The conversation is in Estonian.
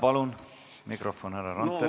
Palun mikrofon härra Randperele!